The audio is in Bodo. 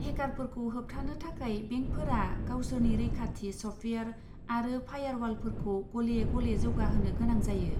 हेकारफोरखौ होबथानो थाखाय बेंकफोरा गावसोरनि रैखाथि सफ्टवेयार आरो फायारवालफोरखौ गले गले जौगाहोनो गोनां जायो।